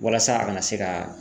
Walasa a kana se ka